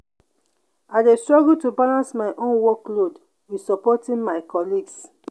i dey struggle to balance my own workload with supporting my colleagues.